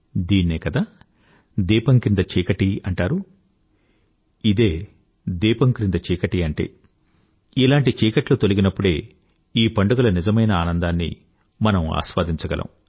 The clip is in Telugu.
దీన్నే కదా దీపం క్రింద చీకటి అంటారు ఇదే దీపం క్రింద చీకటి అంటే ఇలాంటి చీకట్లు తొలగినప్పుడే ఈ పండుగల నిజమైన ఆనందాన్ని మనం ఆస్వాదించగలం